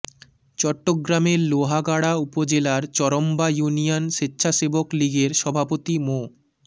চট্টগ্রামের লোহাগাড়া উপজেলার চরম্বা ইউনিয়ন স্বেচ্ছাসেবক লীগের সভাপতি মো